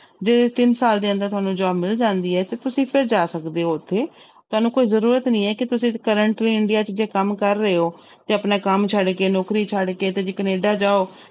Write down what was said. ਜੇ ਤਿੰਨ ਸਾਲ ਦੇ ਅੰਦਰ ਤੁਹਾਨੂੰ job ਮਿਲ ਜਾਂਦੀ ਹੈ ਤੇ ਤੁਸੀਂ ਫਿਰ ਜਾ ਸਕਦੇ ਹੋ ਉੱਥੇ, ਤੁਹਾਨੂੰ ਕੋਈ ਜ਼ਰੂਰਤ ਨੀ ਹੈ ਕਿ ਤੁਸੀਂ currently india 'ਚ ਜੇ ਕੰਮ ਕਰ ਰਹੇ ਹੋ ਤੇ ਆਪਣਾ ਕੰਮ ਛੱਡ ਕੇ, ਨੌਕਰੀ ਛੱਡ ਕੇ ਤੁਸੀਂ ਕੈਨੇਡਾ ਜਾਓ